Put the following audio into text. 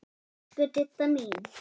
Elsku Didda mín.